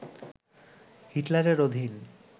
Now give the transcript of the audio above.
হিটলারের অধীন